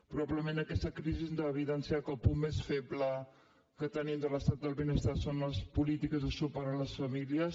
probablement aquesta crisi ens ha evidenciat que el punt més feble que tenim de l’estat del benestar són les polítiques de suport a les famílies